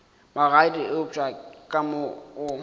magadi eupša ka mo o